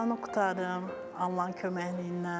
Buranı qurtarım, Allahın köməkliyi ilə.